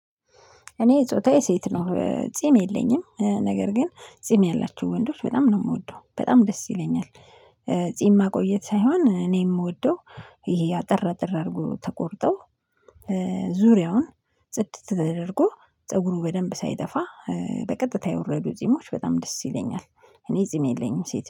እኔ ጾታዬ ሴት ነው። ጺም የለኝም ነገር ግን ጺም ያላቸው ወንዶች በጣም ነው የምወደው በጣም ደስ ይለኛል። ጺም ማቆየት ሳይሆን እኔ የምወደው አጠር አጠር አድርጎ ተቆርጠው ዙሪያውን ጽድት ተደርጎ ፀጉሩ በደንብ ሳይጠፋ በቀጥታ የወረዱ ጺሞች በጣም ደስ ይለኛል። እኔ ጺም የለኝም ሴት